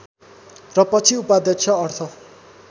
र पछि उपाध्यक्ष अर्थ